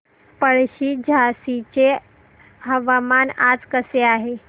पळशी झाशीचे हवामान आज कसे आहे